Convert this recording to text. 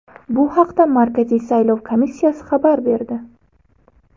Bu haqda Markaziy saylov komissiyasi xabar berdi.